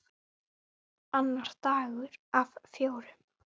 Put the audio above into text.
Annar dagur af fjórum.